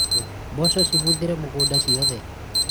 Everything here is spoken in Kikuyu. mboco cibũthĩire mũgũnda ciothe